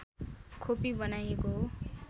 खोपी बनाइएको हो